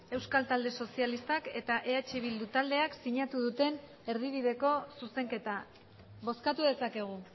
euskal talde sozialistak eta eh bildu taldeak sinatu duten erdibideko zuzenketa bozkatu dezakegu